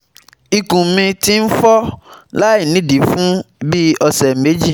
Ikun mi ti n fo lainidii fun bii ọsẹ meji